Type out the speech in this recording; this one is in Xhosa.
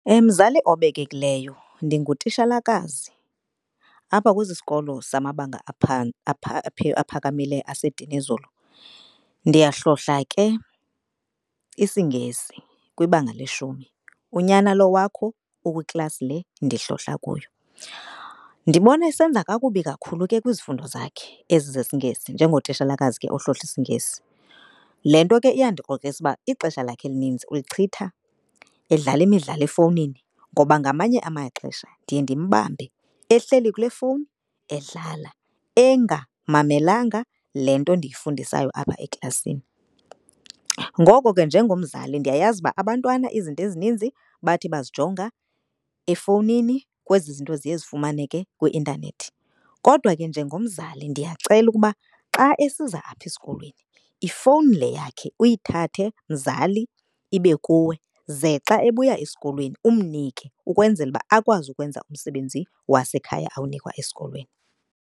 Mzali obekekileyo ndingutishalakazi apha kwesi sikolo samabanga aphakamileyo aseDinizulu. Ndiyahlohla ke isiNgesi kwibanga leshumi. Unyana lo wakho ukwiklasi le ndihlohla kuyo. Ndibona esenza kakubi kakhulu ke kwizifundo zakhe ezi zesiNgesi. Njengotishalakazi ke ohlohla isiNgesi, le nto ke iyandikrokrisa uba ixesha lakhe elinintsi ulichitha edlala imidlalo efowunini. Ngoba ngamanye amaxesha ndiye ndimbambe ehleli kule fowuni edlala engamamelanga le nto ndiyifundisayo apha eklasini. Ngoko ke njengomzali ndiyayazi uba abantwana izinto ezininzi bathi bazijonga efowunini kwezi zinto ziye zifumaneke kwi-intanethi. Kodwa ke njengomzali ndiyacela ukuba xa esiza apha esikolweni ifowuni le yakhe uyithathe mzali ibe kuwe. Ze xa ebuya esikolweni umnike ukwenzela uba akwazi ukwenza umsebenzi wasekhaya awunikwa esikolweni.